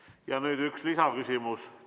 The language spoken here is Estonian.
Ja nüüd üks lisaküsimus.